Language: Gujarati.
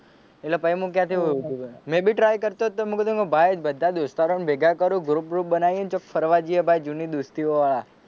એટલે પછી હું ક્યાંથી સોધું મેં બી try કરતો જ તો મેં કીધું ભાઈ બધા દોસ્તારો ને ભેગા કરું ગ્રુપ બ્રુપ બનાવી ને ચોક ફરવા જઈએ ભાઈ જૂની દોસ્તી ઓ વાળા